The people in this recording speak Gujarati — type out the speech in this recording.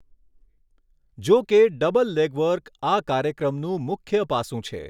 જો કે, ડબલ લેગ વર્ક આ કાર્યક્રમનું મુખ્ય પાસું છે.